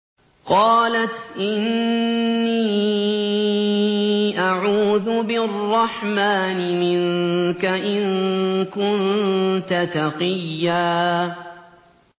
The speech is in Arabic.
قَالَتْ إِنِّي أَعُوذُ بِالرَّحْمَٰنِ مِنكَ إِن كُنتَ تَقِيًّا